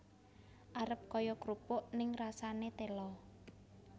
Arep kaya krupuk ning rasane tela